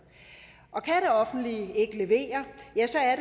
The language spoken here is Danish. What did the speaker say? og kan det offentlige ikke levere